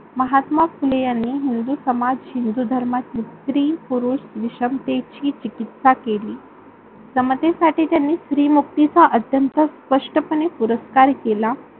महात्मा फुले यांनी हिंदू समाज हिंदू धर्मतील स्त्री, पुरुष विषमतेची चीकीस्या केली. समतेसाठी त्यांनी स्त्री मुक्तीचा अत्यंत स्पष्ठ्पणे पुरस्कार केला.